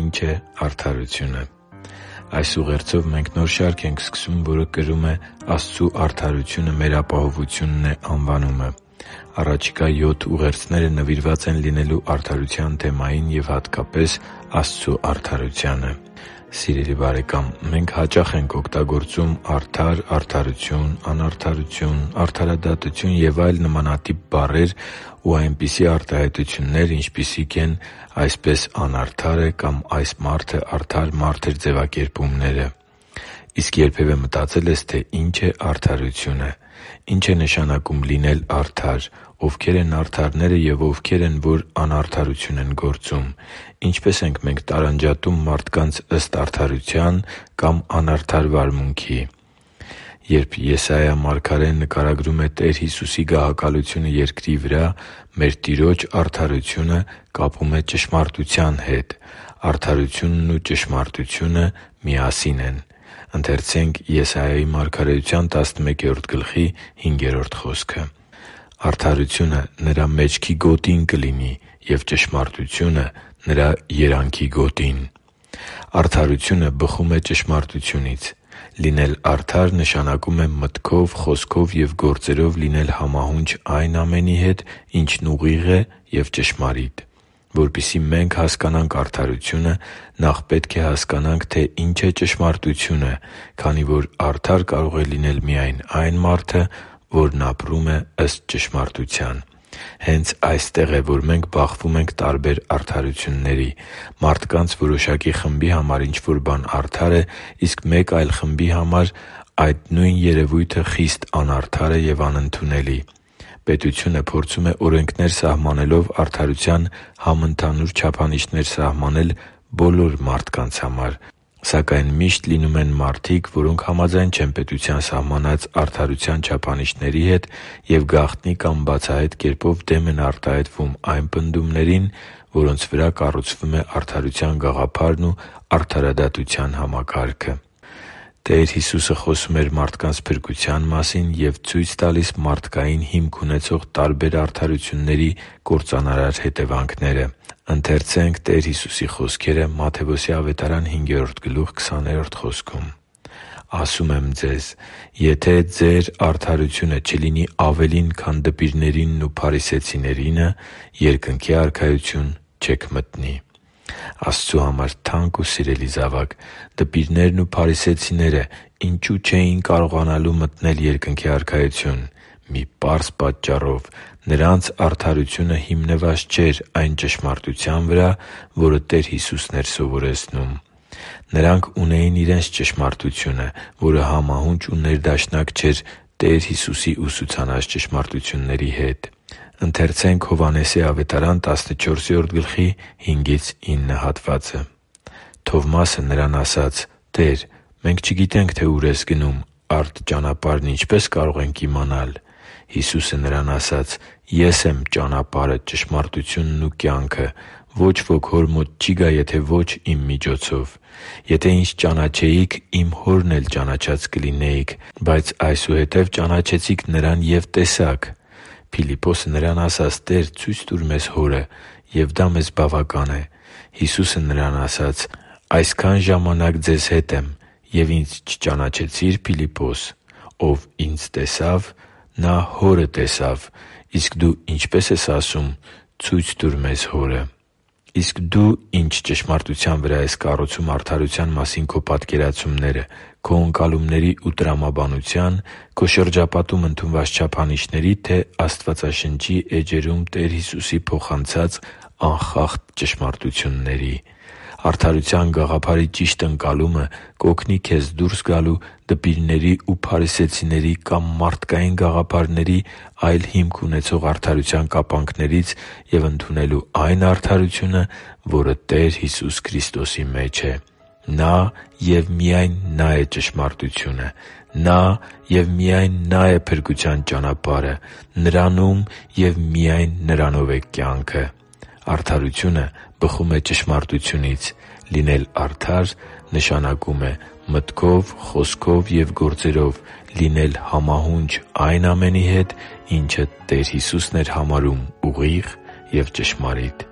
Ի՞նչ է արդարությունը Այս ուղերձով մենք նոր շարք ենք սկսում, որը կրում է «Աստծու արդարությունը մեր ապահովությունն է» անվանումը։ Առաջիկա յոթ ուղերձները նվիրված են լինելու արդարության թեմային և, հատկապես, Աստծու արդարությանը։ Սիրելի՛ բարեկամ, մենք հաճախ ենք օգտագործում «արդար», «արդարություն», «անարդարություն», «արդարադատություն» և այլ նմանատիպ բառեր ու այնպիսի արտահայտություններ, ինչպիսիք են «Այդպես անարդար է․․․» կամ «Այս մարդը արդար մարդ էր․․․» ձևակերպումները։ Իսկ երբևէ մտածե՞լ ես, թե ինչ է արդարությունը։ Ի՞նչ է նշանակում լինել արդար։ Ովքե՞ր են արդարները և ովքեր են, որ անարդարություն են գործում։ Ինչպե՞ս ենք մենք տարանջատում մարդկանց ըստ արդարության կամ անարդար վարմունքի։ Երբ Եսայիա մարգարեն նկարագրում է Տեր Հիսուսի գահակալությունը երկրի վրա, մեր Տիրոջ արդարությունը կապում է ճշմարտության հետ։ Արդարությունն ու ճշմարտությունը միասին են։ «Արդարությունը Նրա մեջքի գոտին կլինի, և ճշմարտությունը՝ Նրա երանքի գոտին» (Եսայիա 11․5): Արդարությունը բխում է ճշմարտությունից։ Լինել արդար՝ նշանակում է մտքով, խոսքով և գործերով լինել համահունչ այն ամենի հետ, ինչն ուղիղ է և ճշմարիտ։ Որպեսզի մենք հասկանանք արդարությունը, նախ պետք է հասկանանք, թե ինչ է ճշմարտությունը, քանի որ արդար կարող է լինել այն մարդը, որն ապրում է ըստ ճշմարտության։ Հե՛նց այստեղ է, որ մենք բախվում ենք տարբեր արդարությունների։ Մարդկանց որոշակի խմբի համար ինչ-որ բան արդար է, իսկ մեկ այլ խմբի համար այդ նույն երևույթը խիստ անարդար է և անընդունելի։ Պետությունը փորձում է օրենքներ սահմանելով արդարության համընդհանուր չափանիշներ սահմանել բոլոր մարդկանց համար, սակայն միշտ լինում են մարդիկ, որոնք համաձայն չեն պետության սահմանած արդարության չափանիշների հետ և գաղտնի կամ բացահայտ կերպով դեմ են արտահայտվում այն պնդումներին, որոնց վրա կառուցվում է արդարության գաղափարն ու արդարադատության համակարգը։ Տեր Հիսուսը խոսում էր մարդկանց փրկության մասին և ցույց տալիս մարդկային հիմք ունեցող տարբեր արդարությունների կործանարար հետևանքները․ «Ասում եմ ձեզ. եթե ձեր արդարությունը չլինի ավելին, քան դպիրներինն ու փարիսեցիներինը, Երկնքի Արքայություն չեք մտնի» (Մատթեոս 5․20): Աստծու համար թանկ ու սիրելի՛ զավակ, դպիրներն ու փարիսեցիներն ինչո՞ւ չէին կարողանալու մտնել Երկնքի Արքայություն։ Մի պարզ պատճառով՝ նրանց արդարությունը հիմնված չէր այն ճշմարտության վրա, որը Տեր Հիսուսն էր սովորեցնում։ Նրանք ունեին իրենց ճշմարտությունը, որը համահունչ ու ներդաշնակ չէր Տեր Հիսուսի ուսուցանած ճշմարտությունների հետ։ «Թովմասը Նրան ասաց. «Տե՛ր, մենք չգիտենք, թե ո՛ւր ես գնում, արդ ճանապարհն ինչպե՞ս կարող ենք իմանալ»։ Հիսուսը նրան ասաց. «Ես եմ ճանապարհը, ճշմարտությունն ու կյանքը. ոչ ոք Հոր մոտ չի գա, եթե ոչ Իմ միջոցով։ Եթե Ինձ ճանաչեիք, Իմ Հորն էլ ճանաչած կլինեիք։ Բայց այսուհետև ճանաչեցիք Նրան և տեսաք»։ Փիլիպպոսը Նրան ասաց. «Տե՛ր, ցո՛ւյց տուր մեզ Հորը, և դա մեզ բավական է»։ Հիսուսը նրան ասաց. «Այսքան ժամանակ ձեզ հետ եմ, և Ինձ չճանաչեցի՞ր, Փիլիպպո՛ս։ Ով Ինձ տեսավ, նա Հորը տեսավ. իսկ դու ինչպե՞ս ես ասում. "Ցո՛ւյց տուր մեզ Հորը"» (Հովհաննես 14.5-9): Իսկ դու ի՞նչ ճշմարտության վրա ես կառուցում արդարության մասին քո պատկերացումները՝ քո ընկալումների ու տրամաբանությա՞ն, քո շրջապատում ընդունված չափանիշների՞, թե՞ Աստվածաշնչի էջերում Տեր Հիսուսի փոխանցած անխախտ ճշմարտությունների։ Արդարության գաղափարի ճիշտ ընկալումը կօգնի քեզ դուրս գալ դպիրների ու փարիսեցիների կամ մարդկային գաղափարների՝ այլ հիմք ունեցող արդարության կապանքներից և ընդունել այն արդարությունը, որը Տեր Հիսուս Քրիստոսի մեջ է։ Նա՛ և միայն Նա՛ է ճշմարտությունը։ Նա՛ և միայն Նա՛ է փրկության ճանապարհը։ Նրանո՛ւմ և միայն Նրանո՛վ է կյանքը։ Արդարությունը բխում է ճշմարտությունից։ Լինել արդար՝ նշանակում է մտքով, խոսքով և գործերով լինել համահունչ այն ամենի հետ, ինչը Տեր Հիսուսն էր համարում ուղիղ և ճշմարիտ։